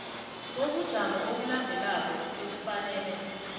bobujamo obulandelako ekufanele